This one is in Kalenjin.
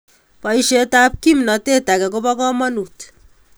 Boisietab kimnateet age ko bo kamonuut